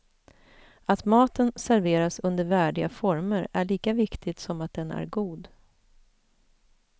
Att maten serveras under värdiga former är lika viktigt som att den är god.